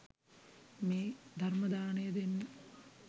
මේ ධර්ම දානය දෙන්න